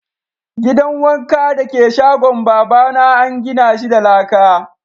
Gidan wanka dake shagon baba na an gina shi da laka.